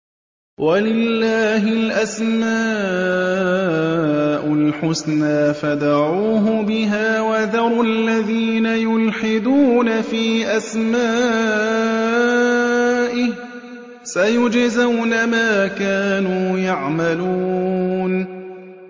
وَلِلَّهِ الْأَسْمَاءُ الْحُسْنَىٰ فَادْعُوهُ بِهَا ۖ وَذَرُوا الَّذِينَ يُلْحِدُونَ فِي أَسْمَائِهِ ۚ سَيُجْزَوْنَ مَا كَانُوا يَعْمَلُونَ